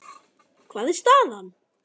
Hver er staðan?